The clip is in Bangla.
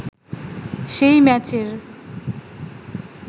সেই ম্যাচের